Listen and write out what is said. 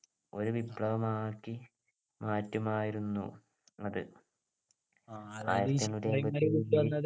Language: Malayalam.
ഒരു വിപ്ലവം ആക്കി മാറ്റും ആയിരുന്നു അത് ആയിരത്തി എണ്ണൂറ്റിഅമ്പത്തി